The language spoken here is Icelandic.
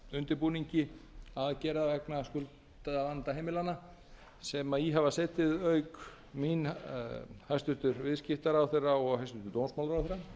undirbúningi aðgerða vegna skuldavanda heimilanna sem í hafa setið auk mín hæstvirtur viðskiptaráðherra og hæstvirtur